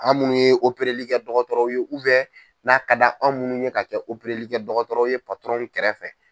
An munnu ye operelikɛ dɔgɔtɔrɔw ye n'a ka da anw minnu ye ka kɛ opereli kɛ dɔgɔtɔrɔ ye kɛrɛfɛ.